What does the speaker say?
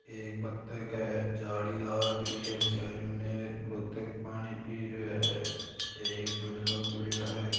ये एक बतख है जाली लाग री है चारों मेर बतख पानी पी रयो है ऐ डोनो पड्यो है।